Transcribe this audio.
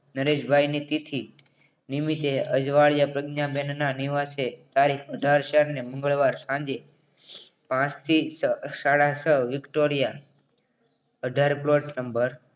નરેશ ભાઈની તિથિ નિમિત્તે અજવાળિયા પ્રજ્ઞાબેનના નિવાસે તારીખ અઠાર ચાર ને મંગળવાર સાંજે પાંચ થી સાડા છ વિક્ટોરિયા અઢાર plot number